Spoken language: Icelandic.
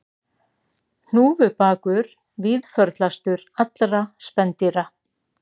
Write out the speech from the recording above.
Hnúfubakur víðförlastur allra spendýra